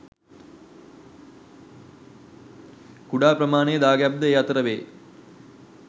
කුඩා ප්‍රමාණයේ දාගැබ් ද ඒ අතර වේ.